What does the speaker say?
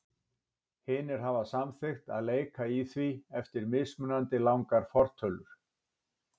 Hinir hafa samþykkt að leika í því eftir mismunandi langar fortölur.